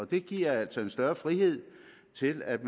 det giver altså en større frihed til at